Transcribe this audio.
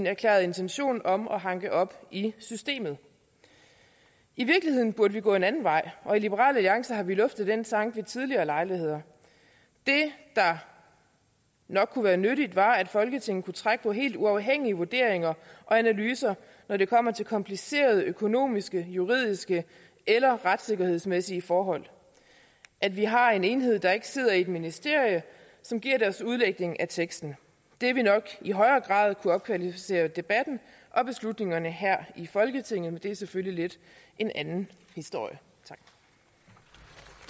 erklærede intention om at hanke op i systemet i virkeligheden burde man gå en anden vej og i liberal alliance har vi luftet den tanke ved tidligere lejligheder det der nok kunne være nyttigt var at folketinget kunne trække på helt uafhængige vurderinger og analyser når det kommer til komplicerede økonomiske juridiske eller retssikkerhedsmæssige forhold at vi har en enhed der ikke sidder i et ministerie som giver sin udlægning af teksten ville nok i højere grad kunne opkvalificere debatten og beslutningerne her i folketinget men det er selvfølgelig lidt en anden historie